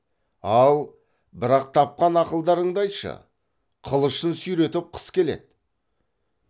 ал бірақ тапқан ақылдарыңды айтшы қылышын сүйретіп қыс келеді